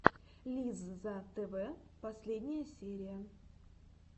лизза тв последняя серия